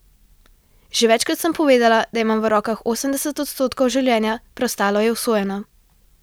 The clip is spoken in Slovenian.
Že večkrat sem povedala, da imamo v rokah osemdeset odstotkov življenja, preostalo je usojeno.